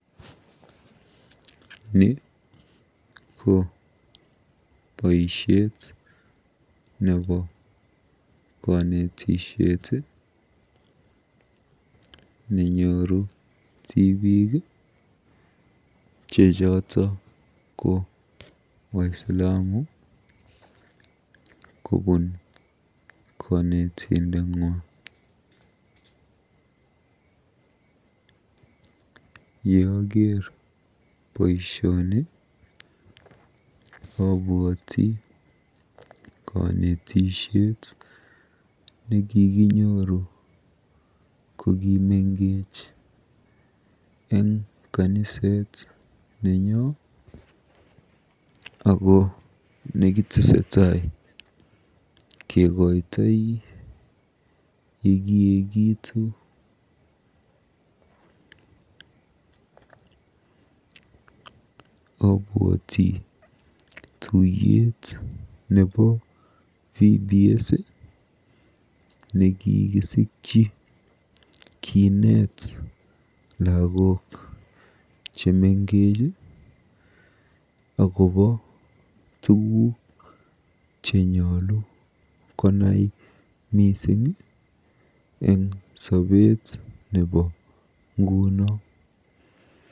Ni ko boisiet nebo konetisiet nenyoru tiibik che choto ko waislamu kobuun konetindeng'wa. Yeaker boisioni abwoti konetishet nekikinyooru kokimengech eng kaniset nenyo ako kitesetai kekoitoi yekiekitu. Abwoti tuiyet nebo VBS nekikisikyi kiinet lagok chemengech akobo tugug chenyolu konai eng sobeet nebo nguno.